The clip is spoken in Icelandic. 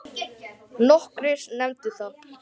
Nokkrir nefndu það.